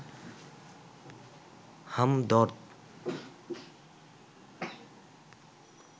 Hamdard